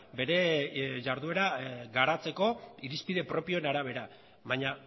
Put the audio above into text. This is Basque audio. bere jarduera garatzeko irizpide propioen arabera baina